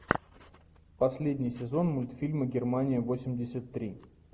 последний сезон мультфильма германия восемьдесят три